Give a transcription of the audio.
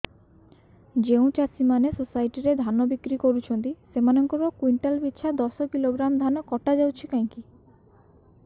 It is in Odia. ଯେଉଁ ଚାଷୀ ମାନେ ସୋସାଇଟି ରେ ଧାନ ବିକ୍ରି କରୁଛନ୍ତି ସେମାନଙ୍କର କୁଇଣ୍ଟାଲ ପିଛା ଦଶ କିଲୋଗ୍ରାମ ଧାନ କଟା ଯାଉଛି କାହିଁକି